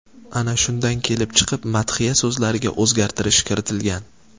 Ana shundan kelib chiqib madhiya so‘zlariga o‘zgartirish kiritilgan.